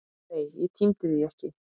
Nei, ég tímdi því ekki!